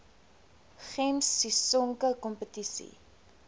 gems sisonke kompetisie